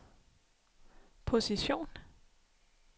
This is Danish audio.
position